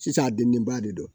Sisan a dennenba de don